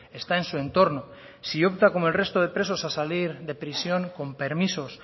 está en su entorno si opta como el resto de presos a salir de prisión con permisos